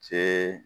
Cɛ